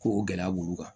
Ko o gɛlɛya b'olu kan